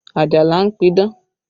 Ajala ń pidán